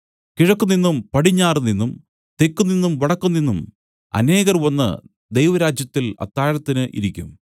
കിഴക്കുനിന്നും പടിഞ്ഞാറുനിന്നും തെക്കുനിന്നും വടക്കുനിന്നും അനേകർ വന്നു ദൈവരാജ്യത്തിൽ അത്താഴത്തിന് ഇരിക്കും